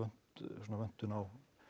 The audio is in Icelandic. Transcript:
svona vöntun á